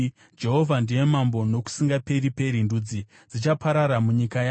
Jehovha ndiye Mambo nokusingaperi-peri; ndudzi dzichaparara munyika yake.